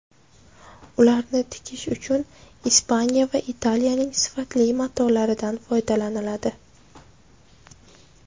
Ularni tikish uchun Ispaniya va Italiyaning sifatli matolaridan foydalaniladi.